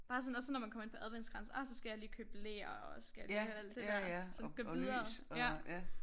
Bare sådan også når man kommer ind på adventskrans ah så skal jeg lige købe ler og så skal jeg lige have alt der der så det går videre ja